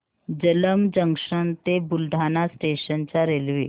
Jalamb junction ते Buldhana station च्या railway